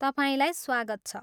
तपाईँलाई स्वागत छ!